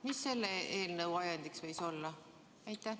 Mis selle eelnõu ajendiks võis olla?